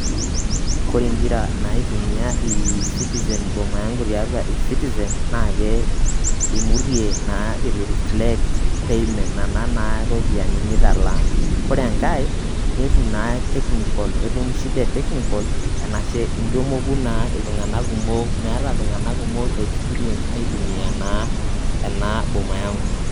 Kore ing'ira naa aitumia eCitizen Boma Yangu tiatua eCitizen, naake imutie naa itu ireflect payment nana naa ropiani nitalaa. Ore enkae netum naa technical etum shida e technical, anashe intu emoku naa iltung'anak kumok meeta iltung'anak kumok experience aitumia naa ena Boma Yangu.